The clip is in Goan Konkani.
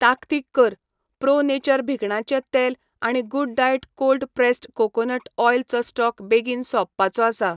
ताकतीक कर, प्रो नेचर भिकणांचे तेल आनी good diet cold pressed coconut oil चो स्टॉक बेगीन सोंपपाचो आसा.